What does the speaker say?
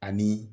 Ani